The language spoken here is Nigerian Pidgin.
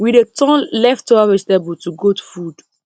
we dey turn leftover vegetable to goat food